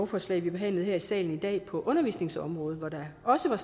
forslag vi behandlede her i salen i dag på undervisningsområdet hvor der også var